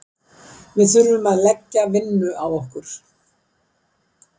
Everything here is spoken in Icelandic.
Við þurfum að leggja vinnu á okkur.